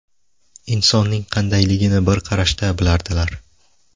Insonning qandayligini bir qarashda bilardilar.